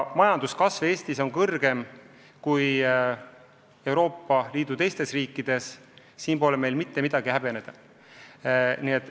Majanduskasv Eestis on kõrgem kui Euroopa Liidu teistes riikides, siin pole meil mitte midagi häbeneda.